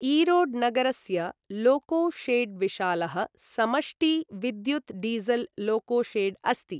ईरोड् नगरस्य loco shed विशालः समष्टि विद्युत् डीसल् लोको शेड् अस्ति।